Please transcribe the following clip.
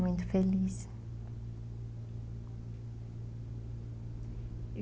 Muito feliz.